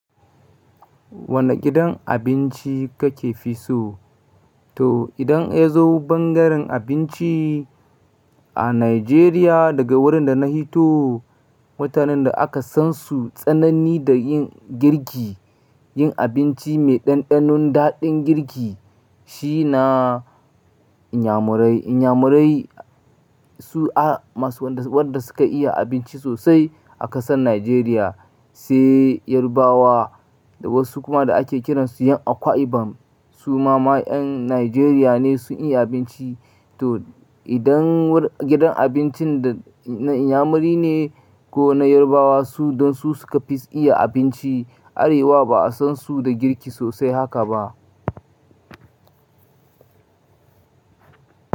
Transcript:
Wane gidan abinci kake fi so? To idan ya zo bangaren abinci a Najeriya daga wurin da na hito, mutanen da aka san su tsanani da yin girki, yin abinci mai ɗanɗanon daɗin girki shi na Inyamurai. Inyamurai su a masu wanda su wanda suka iya abinci sosai a ƙasar Najeriya, sai Yarbawa da wasu kuma da ake kiransu yan Akwa Ibom. Su ma ma 'yan Najeriya ne sun iya abinci. To idan wur gidan abincin da na Inyamuri ne ko na Yarbawa su don su suka fi iya abinci. Arewa ba a san su da girki sosai haka ba.